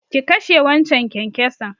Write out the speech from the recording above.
Ki kashe waccan kyankyason!